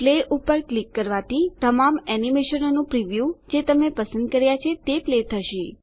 play પર click કરવાથી તમામ એનીમેશનોનાં પ્રીવ્યું જે તમે પસંદ કર્યા છે તે પ્લે થશે